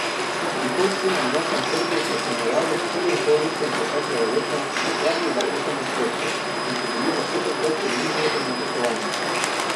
Prihodki na domačem trgu so v primerjavi s prvim polletjem preteklega leta upadli za osem odstotkov in so bili za pet odstotkov nižji od načrtovanih.